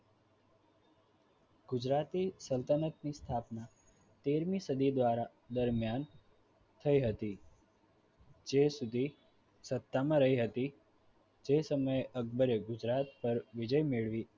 ગુજરાતે સલ્તનતની સ્થાપના તેરમી શાદી દ્વારા દરમિયાન થઈ હતી જે સુધી સત્તામાં રહી હતી તે સમયે અકબરે ગુજરાત પર વિજય મેળવી